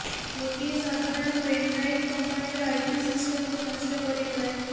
ଗୋଟିଏ ସାଧାରଣ pen drive କମ୍ପାନିର ଆଇଟି ସିଷ୍ଟମକୁ ନଷ୍ଟ କରିପାରେ